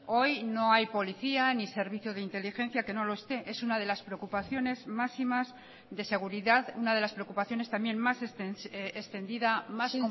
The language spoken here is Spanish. hoy no hay policía ni servicio de inteligencia que no lo esté es una de las preocupaciones máximas de seguridad una de las preocupaciones también más extendida más